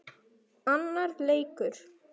Annar leikur